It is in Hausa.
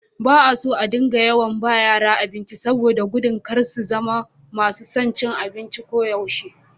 Ba a son a dinga yawan ba yara abinci, saboda da gudun kar su zama masu son cin abinci koyaushe.